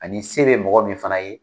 Ani se bɛ mɔgɔ min fana ye.